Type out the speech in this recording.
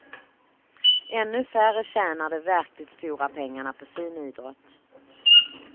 Ännu färre tjänar de verkligt stora pengarna på sin idrott.